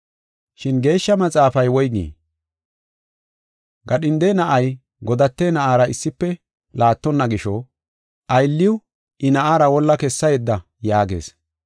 Shin Geeshsha Maxaafay woygii? “Gadhinde na7ay godate na7aara issife laattonna gisho, aylliw I na7aara wolla kessa yedda” yaagees.